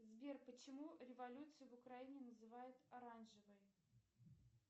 сбер почему революцию в украине называют оранжевой